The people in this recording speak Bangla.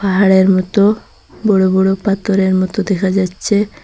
পাহাড়ের মতো বড়ো বড়ো পাতরের মতো দেখা যাচ্ছে।